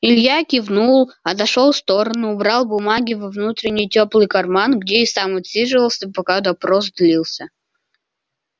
илья кивнул отошёл в сторону убрал бумаги во внутренний тёплый карман где и сам отсиживался пока допрос длился